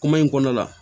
Kuma in kɔnɔ la